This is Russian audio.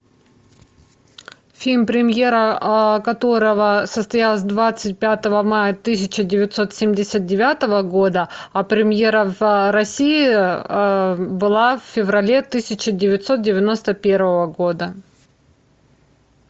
фильм премьера которого состоялась двадцать пятого мая тысяча девятьсот семьдесят девятого года а премьера в россии была в феврале тысяча девятьсот девяносто первого года